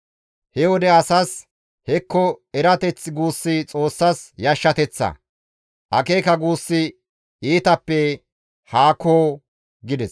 He wode asas, ‹Hekko erateth guussi Xoossas yashshateththa; akeeka guussi iitappe haako› gides.»